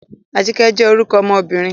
Ajike jẹ́ orúkọ ọmọbìnrin.